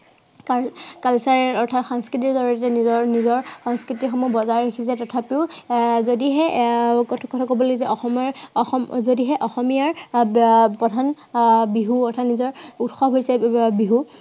কাৰন culture আহ অৰ্থাৎ সংস্কৃতিৰ জড়িয়তে নিজৰ নিজৰ সংস্কতি সমূহ বজাই ৰাখিছে তথাপিও আহ যদিহে আহ কবলৈ অসমৰ যদিহে অসমৰ অসমীয়াৰ আহ প্ৰধান বিহু নিজৰ নিজৰ উৎসৱ হৈছে বিহু